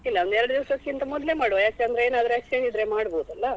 ಇಲ್ಲ ಒಂದೆರೆಡು ದಿವಸಕ್ಕಿಂತ ಮೊದ್ಲೇ ಮಾಡುವ ಯಾಕಂದ್ರೆ ಏನಾದ್ರೂ exchange ಇದ್ರೆ ಮಾಡ್ಬೋದಲ್ಲ.